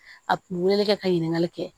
A kun bɛ wele kɛ ka ɲininkali kɛ